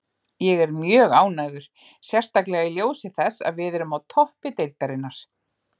Ég er mjög ánægður, sérstaklega í ljósi þess að við erum á toppi deildarinnar.